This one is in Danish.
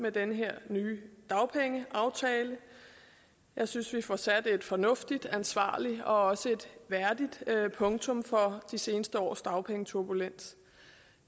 med den her nye dagpengeaftale jeg synes vi får sat et fornuftigt og ansvarligt og også et værdigt punktum for de seneste års dagpengeturbulens